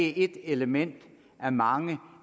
er ét element af mange